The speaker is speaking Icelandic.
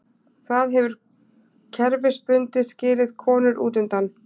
Það hefur kerfisbundið skilið konur útundan.